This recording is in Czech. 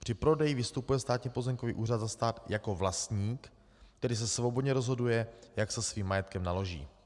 Při prodeji vystupuje Státní pozemkový úřad za stát jako vlastník, tedy se svobodně rozhoduje, jak se svým majetkem naloží.